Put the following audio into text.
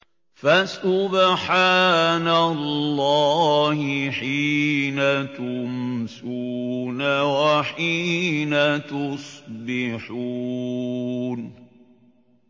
فَسُبْحَانَ اللَّهِ حِينَ تُمْسُونَ وَحِينَ تُصْبِحُونَ